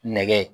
Nɛgɛ